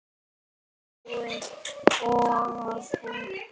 Alltaf varstu boðinn og búinn.